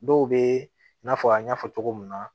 Dɔw bɛ n'a fɔ an y'a fɔ cogo min na